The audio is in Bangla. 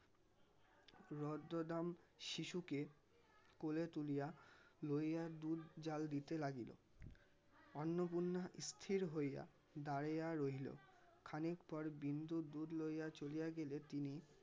রদ্দদাম শিশুকে কোলে তুলিয়া লইয়া দুধ জ্বাল দিতে লাগিল. অন্নপূর্ণা স্থির হইয়া দাঁড়িয়া রহিল. খানিক পর বিন্দু দুধ লইয়া চলিয়া গেলে তিনি